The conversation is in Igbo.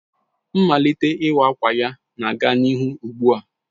Mmalite iwa awka ya na-aga n'ihu ugbu a